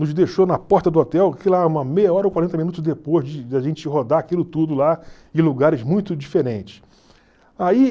Nos deixou na porta do hotel, uma meia hora ou quarenta minutos depois de de a gente rodar aquilo tudo lá em lugares muito diferentes. Aí